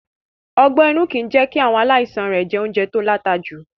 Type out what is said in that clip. Ọgbé-inú kì í jẹ́ kí àwọn aláìsaln rẹ̀ jẹ oúnjẹ to láta jù.